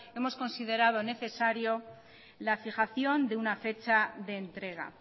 hemos considerado necesario la fijación de una fecha de entrega